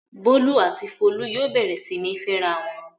Bólú àti Folú yóò bẹ̀rẹ̀ sí ní fẹ́ra wọn!